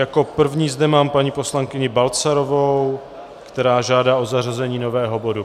Jako první zde mám paní poslankyni Balcarovou, která žádá o zařazení nového bodu.